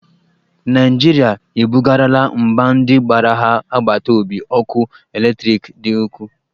Naijirịa e bugarala mba ndị gbara ha agbata obi ọkụ eletriki dị ukwuu